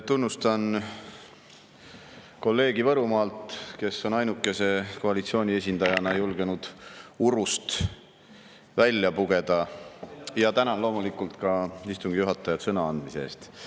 Tunnustan kolleegi Võrumaalt, kes on ainukese koalitsiooni esindajana julgenud urust välja pugeda, ja tänan loomulikult ka istungi juhatajat sõna andmise eest.